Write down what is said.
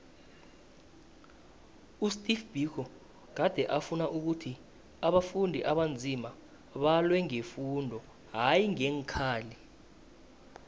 usteve biko gade afuna ukhuthi abantu abanzima balwe ngefundo hayi ngeenkhali